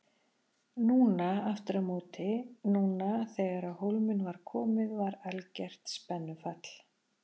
Núna aftur á móti, núna þegar á hólminn var komið var algert spennufall.